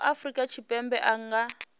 wa afrika tshipembe a nga